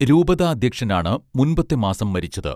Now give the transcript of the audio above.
രൂപതാധ്യക്ഷൻ ആണ് മുൻപത്തെ മാസം മരിച്ചത്